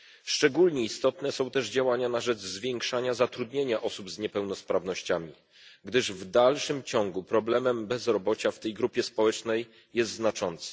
Szczególnie istotne są też działania na rzecz zwiększania zatrudnienia osób z niepełnosprawnościami, gdyż w dalszym ciągu problem bezrobocia w tej grupie społecznej jest znaczący.